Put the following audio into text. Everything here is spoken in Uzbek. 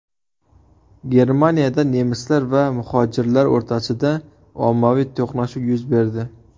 Germaniyada nemislar va muhojirlar o‘rtasida ommaviy to‘qnashuv yuz berdi.